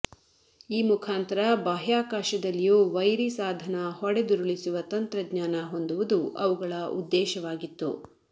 ಈ ಮುಖಾಂತರ ಬಾಹ್ಯಾಕಾಶದಲ್ಲಿಯೂ ವೈರಿಸಾಧನ ಹೊಡೆದುರುಳಿಸುವ ತಂತ್ರಜ್ಞಾನ ಹೊಂದುವುದು ಅವುಗಳ ಉದ್ದೇಶವಾಗಿತ್ತು